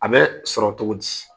A bɛ sɔrɔ cogo di?